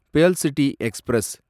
pearl City express